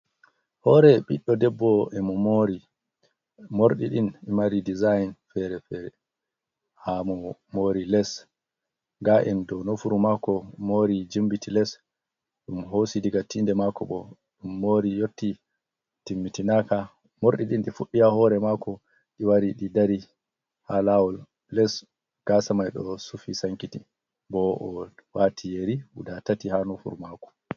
Hore ɓiɗdo debbo emo mori morɗiɗin mari dezign fere fere ha mo mori les ga’en dou nofuru mako mori jimbiti les, ɗum hosi daga tinde mako bo ɗum mori yotti timmiti naka, morɗiɗin ɗi fuɗi ha hore mako ɗi wari ɗi dari ha lawol les gasa mai ɗo sufi sankiti. Bo oɗo wati yeri guda tati ha nofuru mako.